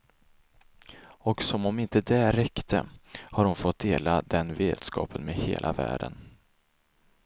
Och som om inte det räckte har hon fått dela den vetskapen med hela världen.